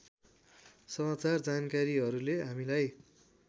समाचार जानकारीहरूले हामीलाई